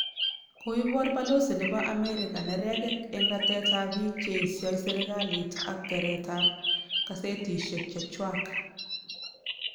Koiborpalosi nebo America neregek en ratet ab biik che esio serkalit ak keret ab kasetisiek chechwak